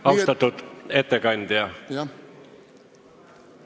Austatud ettekandja!